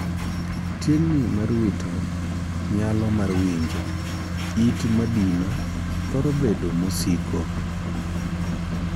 Tieng' ni mar wito nyalo mar winjo (in madino) thoro bedo mosiko.